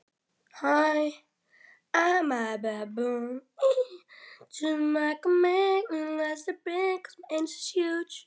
Þeir skoðuðu betur ofan í hársvörðinn á Tolla.